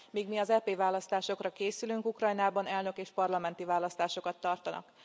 Míg mi az EP választásokra készülünk, Ukrajnában elnök és parlamenti választásokat tartanak.